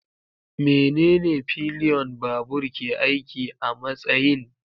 Menene pillion babur ke aiki a matsayin?